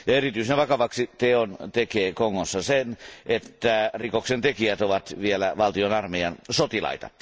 Erityisen vakavaksi teon tekee Kongossa se, että rikoksen tekijät ovat vielä valtion armeijan sotilaita.